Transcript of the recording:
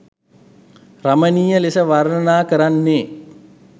රමණීය ලෙස වර්ණනා කරන්නේ